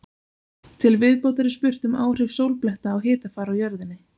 Til viðbótar er spurt um áhrif sólbletta á hitafar á jörðinni.